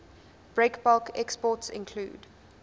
breakbulk exports include